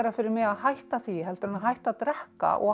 fyrir mig að hætta því en að hætta að drekka og